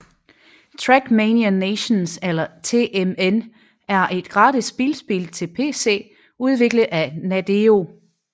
TrackMania Nations eller TMN er et gratis bilspil til pc udviklet af Nadeo